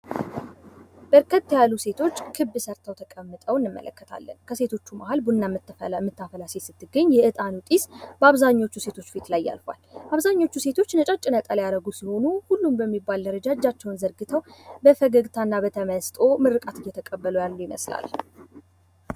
በርከት ያሉ ሴቶች ክብ ሠርተው ተቀምጠው እንመለከታለን። ከሴቶቹ መሀል ቡና የምታፈላ ሴት ስትገኝ የእጣን ጭስ አብዛኛዎቹ ሴቶች ላይ ያርፋል። አብዛኞቹ ሴቶች ነጭ ነጠላ ያደጉ ሲሆኑ ሁሉም በሚባል ደረጃ እጃቸውን ዘርግተው በፈገግታ እና በተመስጦ ምርቃት እየተቀበሉ ያሉ ይመስላል።